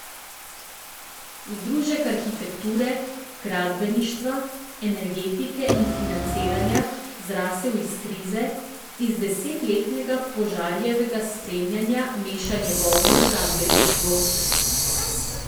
Združek arhitekture, gradbeništva, energetike in financiranja, zrasel iz krize, iz desetletnega Požarjevega spremljanja mešanja govna v gradbeništvu.